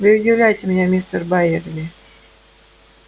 вы удивляете меня мистер байерли